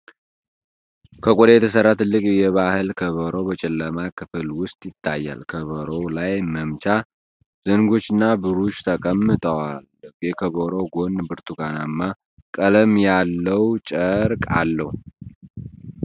ከቆዳ የተሠራ ትልቅ የባህል ከበሮ በጨለማ ክፍል ውስጥ ይታያል። ከበሮው ላይ መምቻ ዘንጎችና ብሩሽ ተቀምጧል። የከበሮው ጎን ብርቱካናማ ቀለም ያለው ጨርቅ አለው።